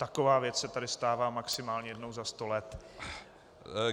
Taková věc se tady stává maximálně jednou za sto let.